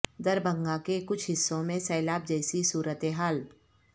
دربھنگہ کے کچھ حصوں میں سیلاب جیسی صورت حال